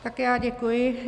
Tak já děkuji.